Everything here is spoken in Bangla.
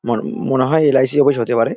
মন মনে হয় এল. আই. সি. অফিস হতে পারে।